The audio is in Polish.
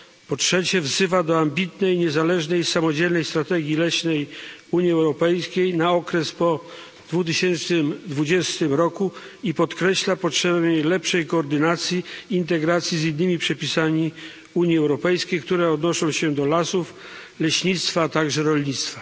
Po trzecie, apeluje o ambitną, niezależną, samodzielną strategię leśną Unii Europejskiej na okres po 2020 roku i podkreśla potrzebę lepszej koordynacji, integracji z innymi przepisami Unii Europejskiej, które odnoszą się do lasów, leśnictwa, a także rolnictwa.